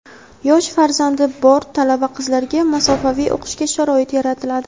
yosh farzandi bor talaba-qizlarga masofaviy o‘qishga sharoit yaratiladi;.